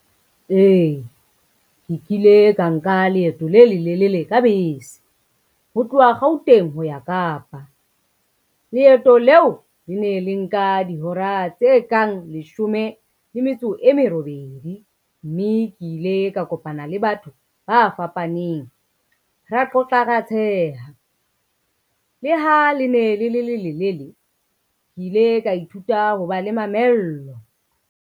Ee, ke kile ka nka leeto le lelelele ka bese, ho tloha Gauteng ho ya Kapa. Leeto leo le ne le nka dihora tse kang leshome le metso e merobedi, mme ke ile ka kopana le batho ba fapaneng, ra qoqa, ra tsheha. Le ha le ne le le lelelele, ke ile ka ithuta ho ba le mamello.